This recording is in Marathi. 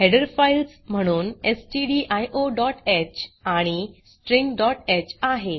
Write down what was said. हेडर फाइल्स म्हणून stdioह आणि stringह आहे